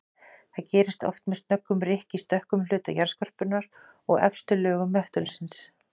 Þetta gerist oft með snöggum rykk í stökkum hluta jarðskorpunnar og efstu lögum möttulsins.